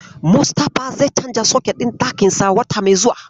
Mustafa zai canza soket ɗin ɗakinsa wata mai zuwa.